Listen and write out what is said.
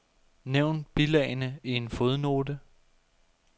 Nævn bilagene i en fodnote.